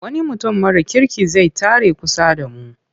Wani mutum mara kirki zai tare a kusa da mu.